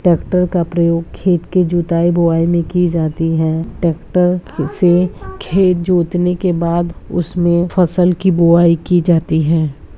Tractor का प्रयोग खेत की जुताई बुआई में की जाती है ट्रैक्टर से खेत जोतने के बाद उसमें फसल की बुआई की जाती है।